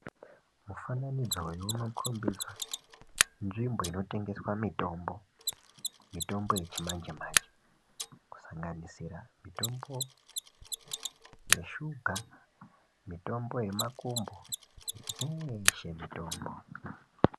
Mufananidzo uyu unokombidza nzvimbo inotengeswe mitombo, mitombo yechimanje manje kusanganisira mitombo yeshuga, mitombo yemakumbo dzeshe mitombo.